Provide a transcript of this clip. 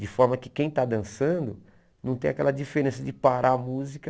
De forma que quem está dançando não tem aquela diferença de parar a música...